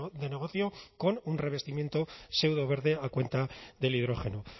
de negocio con un revestimiento seudoverde a cuenta del hidrógeno